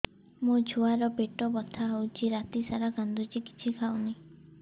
ମୋ ଛୁଆ ର ପେଟ ବଥା ହଉଚି ରାତିସାରା କାନ୍ଦୁଚି କିଛି ଖାଉନି